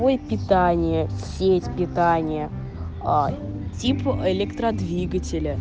мой питание сеть питания тип электродвигателя